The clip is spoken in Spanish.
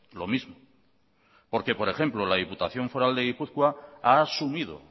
lo mismo porque por ejemplo la diputación foral de gipuzkoa ha asumido